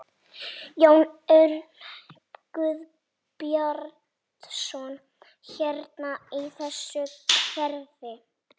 Jón Örn Guðbjartsson: Hérna í þessu hverfi?